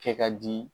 Kɛ ka di